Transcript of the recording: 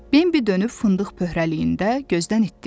Bembi dönüb fındıq pöhrəliyində gözdən itdi.